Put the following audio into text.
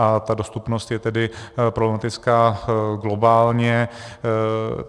A ta dostupnost je tedy problematická globálně.